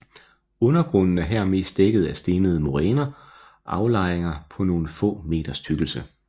Undergrunden er her mest dækket af stenede moræne aflejringer på nogle få meters tykkelse